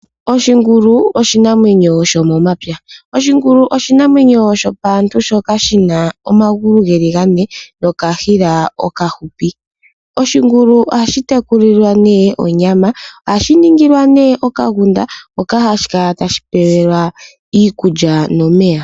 Oshingulu oshinamwenyo sho momapya. Oshingulu oshinamwenyo shopaantu shoka shina omagulu geli gane nokashila okahupi. Oshingulu ohashi tekulilwa ne onyama , ohashi ningilwa okagunda hoka hashi kala tashi pewelwa iikulya nomeya.